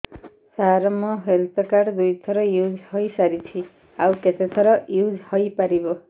ସାର ମୋ health card ଦୁଇ ଥର ୟୁଜ଼ ହୈ ସାରିଛି ଆଉ କେତେ ଥର ୟୁଜ଼ ହୈ ପାରିବ